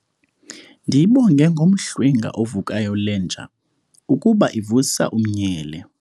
Ndiyibonge ngomhlwenga ovukayo le nja ukuba ivusa umnyele.